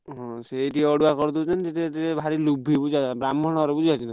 ସେଇଠି ଅଡୁଆ କରିଦେଇଛନ୍ତି ବ୍ରାହ୍ମଣ ଘର ବୁଝିଲ କି ନାହିଁ।